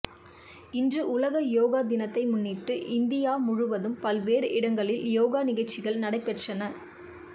இன்று உலக யோகா தினத்தை முன்னிட்டு இந்தியா முழுவதும் பல்வேறு இடங்களில் யோகா நிகழ்ச்சிகள் நடைபெற்றன